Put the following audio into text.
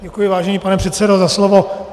Děkuji, vážený pane předsedo, za slovo.